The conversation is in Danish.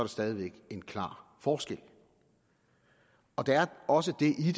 stadig væk en klar forskel der er også det i